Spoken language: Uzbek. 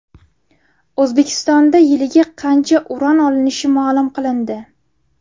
O‘zbekistonda yiliga qancha uran olinishi ma’lum qilindi.